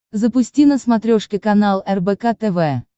запусти на смотрешке канал рбк тв